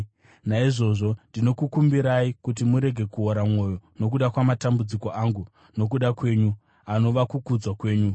Naizvozvo, ndinokukumbirai, kuti murege kuora mwoyo nokuda kwamatambudziko angu nokuda kwenyu, anova kukudzwa kwenyu.